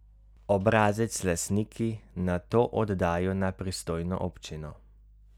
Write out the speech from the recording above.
Obrazec lastniki nato oddajo na pristojno občino.